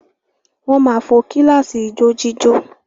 Wọ́n máa fo kíláàsì ijójíjó.